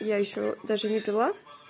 я ещё даже не пила